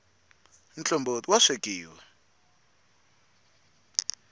mtlomboti ya wa swekiwa